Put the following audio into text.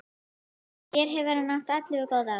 Hér hefur hann átt ellefu góð ár.